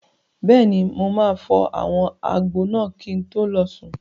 Bẹ́ẹ̀ni, mo máa fọ àwọn abọ́ náà kí n tó lọ sùn.